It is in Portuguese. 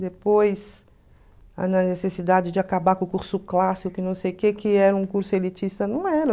depois a necessidade de acabar com o curso clássico e não sei o quê, que era um curso elitista, não era.